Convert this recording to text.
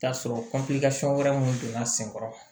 T'a sɔrɔ wɛrɛ mun donna sen kɔrɔ